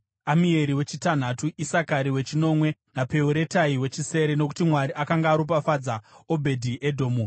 Amieri wechitanhatu, Isakari wechinomwe naPeuretai wechisere. (Nokuti Mwari akanga aropafadza Obedhi-Edhomu.)